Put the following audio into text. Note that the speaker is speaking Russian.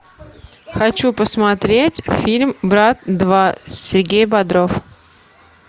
хочу посмотреть фильм брат два сергей бодров